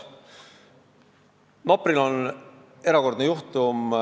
Nopri on erakordne juhtum.